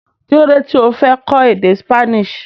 Kílódé tí o fi fẹ́ kọ́ èdè Spanish.